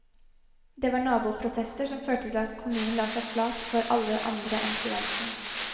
Det var naboprotester som førte til at kommunen la seg flat for alle andre enn studentene.